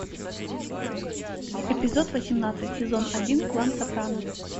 эпизод восемнадцать сезон один клан сопрано